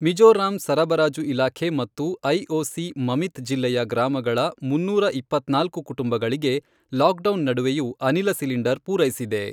ಮಿಜೋರಾಂ ಸರಬರಾಜು ಇಲಾಖೆ ಮತ್ತು ಐಓಸಿ ಮಮಿತ್ ಜಿಲ್ಲೆಯ ಗ್ರಾಮಗಳ ಮುನ್ನೂರ ಇಪ್ಪತ್ನಾಲ್ಕು ಕುಟುಂಬಗಳಿಗೆ ಲಾಕ್ ಡೌನ್ ನಡುವೆಯೂ ಅನಿಲ ಸಿಲಿಂಡರ್ ಪೂರೈಸಿದೆ.